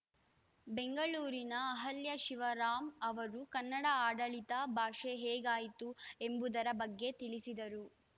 ಬೆಂಗಳೂರಿನ ಅಹಲ್ಯಶಿವರಾಮ್‌ ಅವರು ಕನ್ನಡ ಆಡಳಿತ ಭಾಷೆ ಹೇಗಾಯಿತು ಎಂಬುದರ ಬಗ್ಗೆ ತಿಳಿಸಿದರು